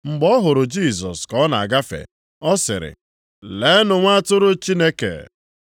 Mgbe ọ hụrụ Jisọs ka ọ na-agafe, ọ sịrị, “Leenụ, Nwa Atụrụ Chineke.”